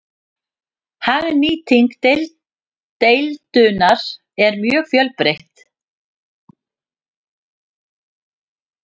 Hagnýting deildunar er mjög fjölbreytt.